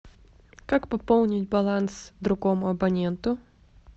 как пополнить баланс другому абоненту